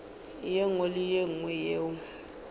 nngwe le ye nngwe yeo